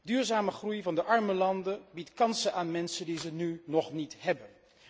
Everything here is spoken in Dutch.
Duurzame groei van de arme landen biedt kansen aan mensen die ze nu nog niet hebben.